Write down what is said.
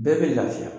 Bɛɛ bɛ laafiya